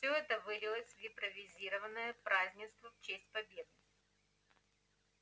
всё это вылилось в импровизированное празднество в честь победы